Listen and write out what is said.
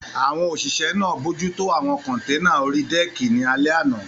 Àwọn òṣìṣẹ́ náà bojútó àwọn kọ́nténà orí dẹ́ẹ̀kì ní alẹ́ àná